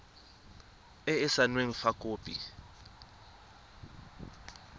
e e saenweng fa khopi